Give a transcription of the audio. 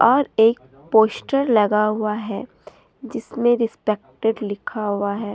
और एक पोस्टर लगा हुआ है जिसमें रेस्पेक्टेड लिखा हुआ है।